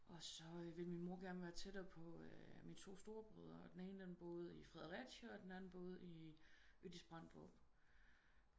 Og så ville min mor gerne være tættere på min to storebrødre og den ene den boede i Fredericia og den anden den boede i Ødis-Bramdrup